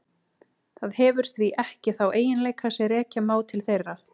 Það hefur því ekki þá eiginleika sem rekja má til þeirra.